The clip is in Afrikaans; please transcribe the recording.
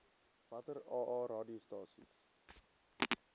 watter aa radiostasies